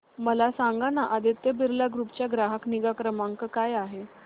मला सांगाना आदित्य बिर्ला ग्रुप चा ग्राहक निगा क्रमांक काय आहे